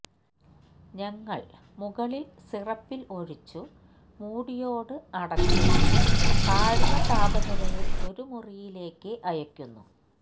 ഞങ്ങൾ മുകളിൽ സിറപ്പിൽ ഒഴിച്ചു മൂടിയോടു അടച്ച് താഴ്ന്ന താപനിലയിൽ ഒരു മുറിയിലേക്ക് അയയ്ക്കുന്നു